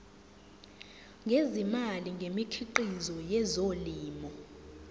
ngezimali ngemikhiqizo yezolimo